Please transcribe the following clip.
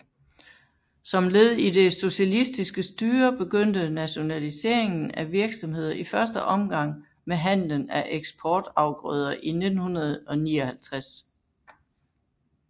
Som led i det socialistiske styre begyndte nationaliseringen af virksomheder i første omgang med handlen med eksportafgrøder i 1959